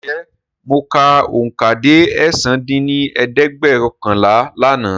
Ǹjẹ́ mọ ka oùnkà dé ẹ̀sán dín ní ẹ̀ẹ́dẹ́gbẹ́ọ̀kànlá lànà?